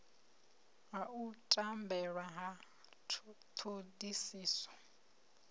ha u tambela ha thodisiso